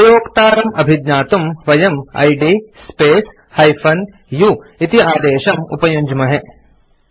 उपयोक्तारं अभिज्ञातुं वयम् id space - u इति आदेशं उपयुञ्ज्महे